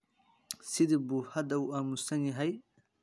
Sidee buu hadda u aamusan yahay?